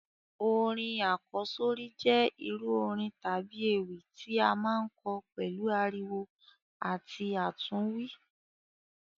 Orin àkọ́sórí jẹ irú orin tábi ewì ti a maa n kọ pẹ̀lu ariwo àti àtúnwí.